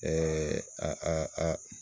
a a